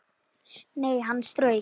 Nei, hann strauk